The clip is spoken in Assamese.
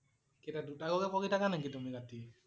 কেইটা? দুটালৈকে পঢ়ি থকা নেকি তুমি ৰাতি?